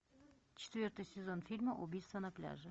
четвертый сезон фильма убийство на пляже